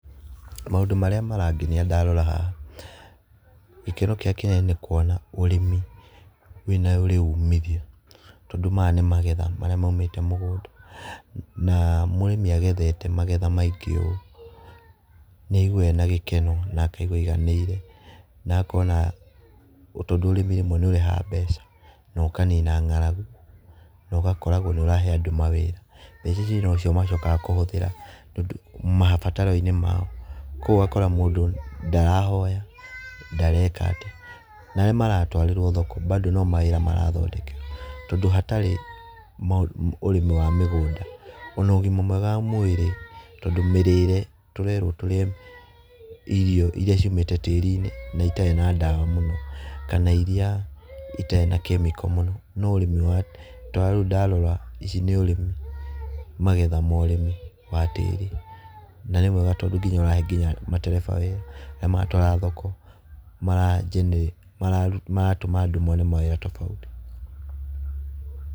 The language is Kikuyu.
Mũndũ marĩa marangenia ndarora haha , gĩkeno kĩrĩa kĩnene nĩ kũona ũrĩmi nĩ ũrĩ ũmithio tondũ maya nĩ magetha marĩa maũmĩte mũgũnda na mũrĩmĩ agethe magetha maingĩ ũũ nĩ aĩgũwaga ena gĩkeno na akaigũa aĩganĩire na akona tondũ ũrĩmi rĩmwe nĩ ũrehaga mbeca no ũkanina ng'aragũ na ũgakoragwo nĩ ũrahe andũ mawĩra mbeca ici no cio maciokaga kũhũthĩra mabataroinĩ mao kũogũo ũgakora mũndũ ndarahoya ndareka atĩa na arĩa maratwarĩrwo thoko bado no mawĩra marathondekerwo tondũ hatĩrĩ na ũrĩmi wamĩgũnda ona ũgĩma mwega wa mwĩrĩ tondũ ona mĩrĩre tũrerwo tũrĩe irio irĩa ciũmĩte tĩrĩinĩ na ĩtarĩ na dawa mũno kana irĩa itarĩ na kemiko no ũrĩmi ũria tarĩũ ndarora ici nĩ ũrĩmi kana magetha ma ũrĩmi wa tĩri na nĩ mwega tondũ ũrahe nginya matereba wĩra na magatwara thoko maratũma andũ mone mawĩra tofauti.